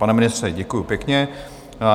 Pane ministře, děkuji pěkně.